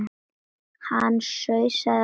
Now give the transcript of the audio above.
Hann sussaði á